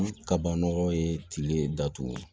Kabanɔgɔ ye tile datugu